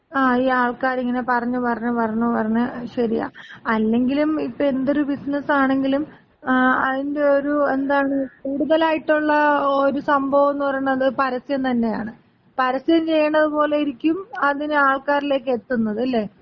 ങാ, ഈ ആൾക്കാരിങ്ങനെ പറഞ്ഞ് പറഞ്ഞ് പറഞ്ഞ് പറഞ്ഞ് ശരിയാ, അല്ലെങ്കിലും ഇപ്പോ എന്തൊര് ബിസിനസ് ആണെങ്കിലും അതിന്‍റെ ഒര് എന്താണ് കൂടുതലായിട്ടുള്ള ഒരു സംഭവംന്ന് പറയണത് പരസ്യം തന്നെയാണ്. പരസ്യം ചെയ്യണത് പോലയിരിക്കും അതിനെ ആൾക്കാരിലേക്ക് എത്തുന്നത്. ല്ലേ?